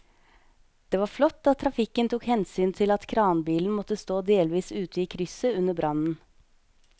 Det var flott at trafikken tok hensyn til at kranbilen måtte stå delvis ute i krysset under brannen.